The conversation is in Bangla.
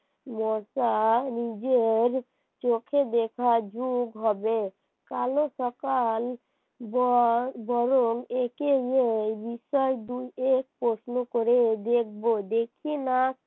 মশা নিজের চোখে দেখার যুগ হবে কালো সকাল বরং একে প্রশ্ন করে দেখব দেখি না